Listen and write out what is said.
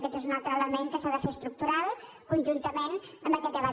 aquest és un altre element que s’ha de fer estructural conjuntament amb aquest debat